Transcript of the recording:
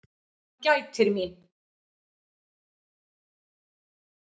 Hann gætir mín.